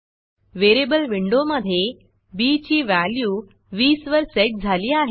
variable विंडोमधे B ची value 20 वर सेट झाली आहे